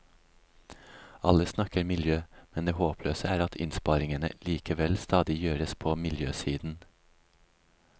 Alle snakker miljø, men det håpløse er at innsparingene likevel stadig gjøres på miljøsiden.